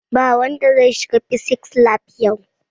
Ba wanda zai shiga fisis lab yau!